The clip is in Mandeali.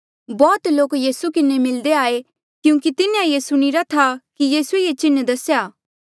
बौह्त लोक यीसू किन्हें मिलदे आये क्यूंकि तिन्हें सुणिरा था कि यीसूए ये चिन्ह दसेया